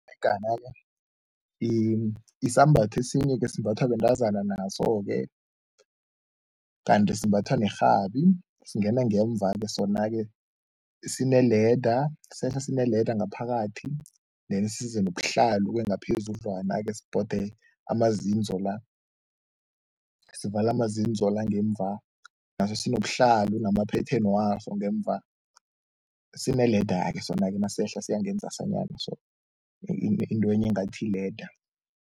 Isambatho esinye-ke esimbathwa bentazana naso-ke kanti simbathwa nerhabi, singena ngemva-ke sona-ke, sine-leather, sehla sine-leather ngaphakathi then size nobuhlalu-ke ngaphezudlwana-ke sibhode amazinzo la, sivale amazinzo la ngemva, naso sinobuhlalu nama-pattern waso ngemva. Sine-leather ke sona-ke nasehla siya ngenzasanyana so intwenye engathi yi-leather.